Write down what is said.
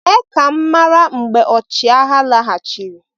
mee ka m mara mgbe ọchịagha laghachiri